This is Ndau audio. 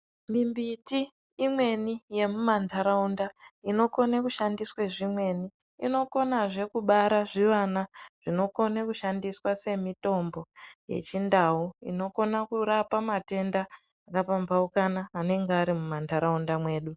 Mimbiti imweni yemumantaraunda inokone kushandiswe zvimweni. Inokonazve kubara zvivana zvinokone kushandiswa semitombo yechiNdau inokona kurapa matenda akapambauka anenge ari mwumwantaraunda mwedu.